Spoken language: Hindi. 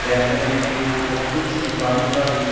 टहल रहे हैं और कुछ सफाई का भी--